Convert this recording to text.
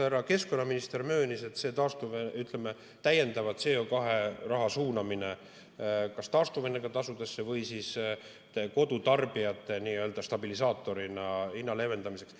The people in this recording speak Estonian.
Härra keskkonnaminister möönis, ütleme, täiendavalt CO2 raha suunamist kas taastuvenergia tasusse või kodutarbijatel stabilisaatorina hinna leevendamiseks.